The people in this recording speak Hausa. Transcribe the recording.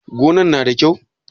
Gangan na da kyau?